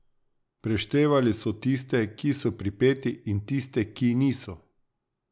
Preštevali so tiste, ki so pripeti in tiste, ki niso.